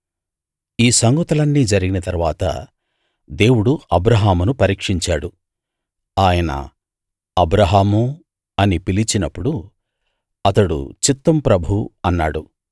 ఈ సంగతులన్నీ జరిగిన తరువాత దేవుడు అబ్రాహామును పరీక్షించాడు ఆయన అబ్రాహామూ అని పిలిచినప్పుడు అతడు చిత్తం ప్రభూ అన్నాడు